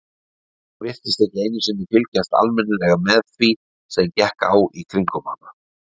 Hún virtist ekki einu sinni fylgjast almennilega með því sem gekk á í kringum hana.